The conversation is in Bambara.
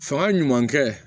Fanga ɲuman kɛ